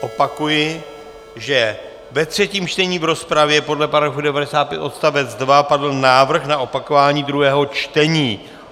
Opakuji, že ve třetím čtení v rozpravě podle § 95 odst. 2 padl návrh na opakování druhého čtení.